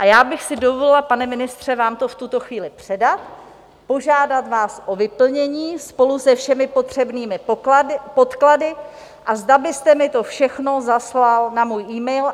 A já bych si dovolila, pane ministře, vám to v tuto chvíli předat, požádat vás o vyplnění spolu se všemi potřebnými podklady, a zda byste mi to všechno zaslal na můj email.